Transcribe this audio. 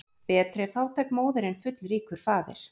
Betri er fátæk móðir en fullríkur faðir.